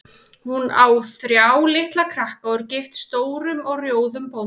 Hún á þrjá litla krakka og er gift stórum og rjóðum bónda.